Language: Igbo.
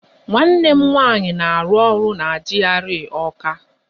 Nwanne m nwaanyị na-arụ ọrụ na GRA Ọọka.